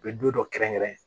U bɛ don dɔ kɛrɛnkɛrɛn